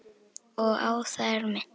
Og á það er minnt.